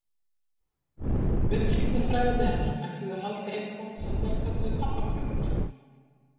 Viðskiptafræðinemar ætluðu að halda eitthvað sem þeir kölluðu pabbakvöld.